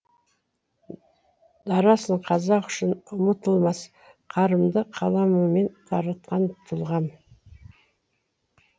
дарасың қазақ үшін ұмытылмас қарымды қаламымен таратқан тұлғам